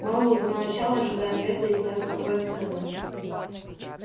мэллоу замолчал ожидая ответа и сатт спокойно сказал